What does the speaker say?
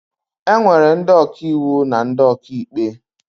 E nwere ndị ọkàiwu na ndị ọkàikpe